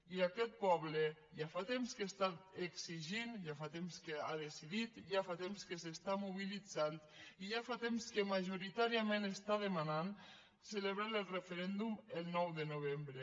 i aquest poble ja fa temps que està exigint ja fa temps que ha decidit ja fa temps que s’està mobilitzant i ja fa temps que majoritàriament està demanant celebrar el referèndum el nou de novembre